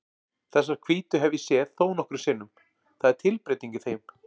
Þessar hvítu hef ég séð þónokkrum sinnum, það er tilbreyting í þeim.